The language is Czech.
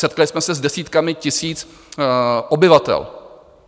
Setkali jsme se s desítkami tisíc obyvatel.